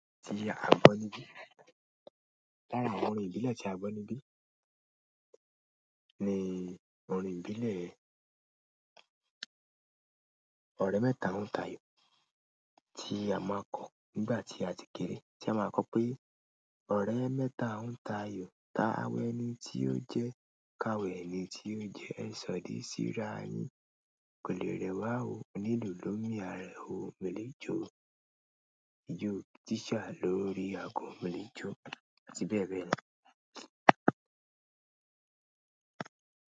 Ti a gbọ níbí. Lára àwọn orin ìbílẹ̀ ti a gbọ níbi ní orin ìbílẹ̀ òré mẹ́ta ń tayò tí a máa ń kọ nígbà tí a ti kéré. Tí a máa ń kọ pé òré mẹ́ta ń ta ayò ta wẹ́ẹ́ni tí ó jẹ́, ka wẹẹ́ni tí ó jẹ́, ṣọ di síra yìí, kò lè rẹwà o, onílù ló mí a rẹ o, mo lè jo o, ijó tíṣá lórí aago, mo lè jo o. Àti bẹ́ẹ̀ bẹ́ẹ̀ lọ.